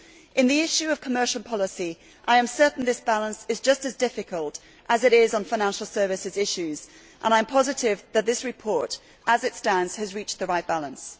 On the issue of commercial policy, I am certain that this balance is just as difficult as it is on financial services issues, and I am positive that this report, as it stands, has achieved the right balance.